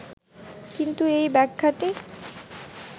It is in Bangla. কিন্তু এই ব্যাখ্যাটি